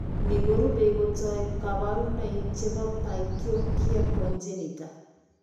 Ni korube kotoi kabarunoik che boto Pachyonychia congenita .